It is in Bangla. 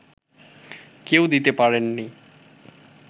কেউই দিতে পারেননি